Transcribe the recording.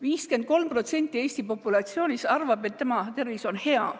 53% Eesti populatsioonist arvab, et tema tervis on hea.